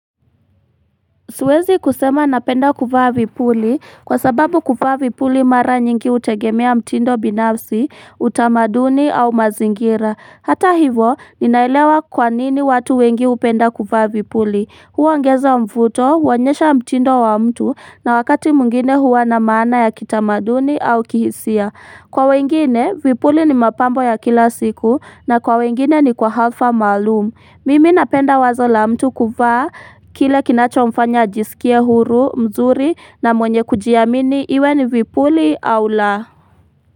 Siwezi kusema napenda kufaa vipuli kwa sababu kufaa vipuli mara nyingi utegemea mtindo binafsi, utamaduni au mazingira. Hata hivo, ninailewa kwanini watu wengi upenda kufaa vipuli. Huwa ongezo mvuto, huwa onyesha mtindo wa mtu na wakati mwngine huwa na maana ya kitamaduni au kihisia. Kwa wengine, vipuli ni mapambo ya kila siku na kwa wengine ni kwa halfa malumu. Mimi napenda wazo la mtu kuvaa, kile kinacho mfanya ajisikia huru, mzuri na mwenye kujiamini iwe ni vipuli au la.